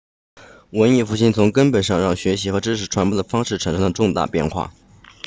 文艺复兴从根本上让学习和知识传播的方式产生了重大变化